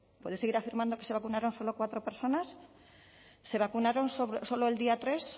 puede seguir afirmando que se vacunaron solo cuatro personas se vacunaron solo el día tres